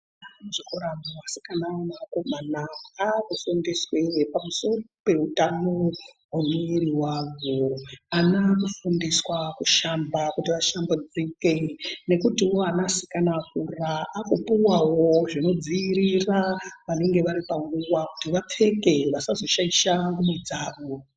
Chikora cheasikana neakomana, chaakufundiswe pamusoro peutano hwemuviri wavo. Ana aakufundiswa kushamba kuti ashambidzike, nekutiwo anasikana akura vanenge vari panguva vaakupuwa zvinodziirira kuti vapfeke, vasazoshaisha ngubo dzavo.